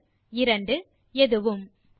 ஒன்று இரண்டு எதுவும்